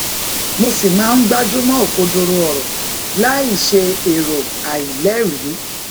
mo sì máa ń gbájúmọ òkodoro ọrọ láìṣe èrò àì lẹrìí